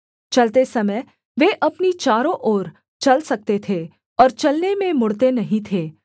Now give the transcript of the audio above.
चलते समय वे अपनी चारों ओर चल सकते थे और चलने में मुड़ते नहीं थे